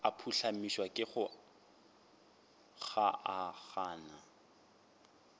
a phuhlamišwa ke go kgaogana